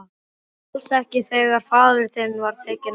Og alls ekki þegar faðir þinn var tekinn af.